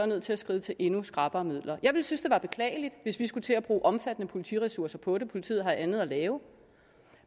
nødt til at skride til endnu skrappere midler jeg synes at være beklageligt hvis vi skulle til at bruge omfattende politiressourcer på det for politiet har andet at lave